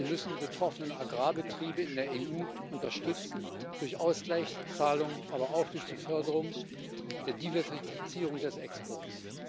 Wir müssen die betroffenen Agrarbetriebe in der EU unterstützen, durch Ausgleichszahlungen, aber auch durch die Förderung der Diversifizierung des Exports.